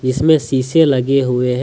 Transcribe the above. इसमें शीशे लगे हुवे है।